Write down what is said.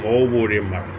Mɔgɔw b'o de mara